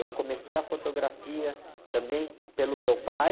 Eu comecei a fotografia também pelo meu pai.